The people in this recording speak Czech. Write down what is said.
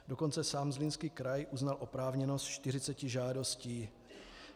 Dokonce sám Zlínský kraj uznal oprávněnost 40 žádostí.